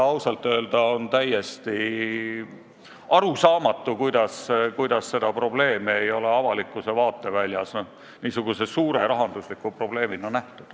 Ausalt öelda on täiesti arusaamatu, kuidas avalikkus ei ole seda probleemi suure rahandusliku probleemina näinud.